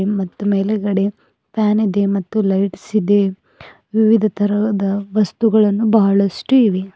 ಮತ್ತು ಮೇಲೆ ಕಡೆ ಫ್ಯಾನ್ ಇದೆ ಮತ್ತು ಲೈಟ್ಸ್ ಇದೆ ವಿವಿಧ ತರಹದ ವಸ್ತುಗಳನ್ನು ಬಹಳಷ್ಟು ಇವೆ.